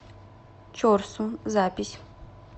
чорсу запись